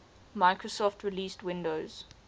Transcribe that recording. microsoft released windows